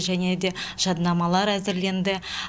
және де жаднамалар әзірленді